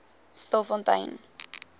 stilfontein